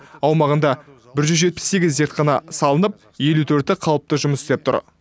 аумағында бір жүз жетпіс сегіз зертхана салынып елу төрті қалыпты жұмыс істеп тұр